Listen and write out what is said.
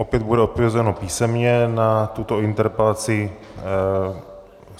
Opět bude odpovězeno písemně na tuto interpelaci.